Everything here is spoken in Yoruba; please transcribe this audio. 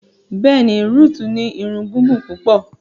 Bẹ́ẹ̀ni, Ruth ni ìrun gigun pupọ